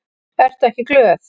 Ertu ekki glöð?